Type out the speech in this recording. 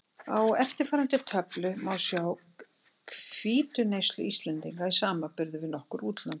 Á eftirfarandi töflu má sjá hvítuneyslu Íslendinga í samanburði við nokkur útlönd.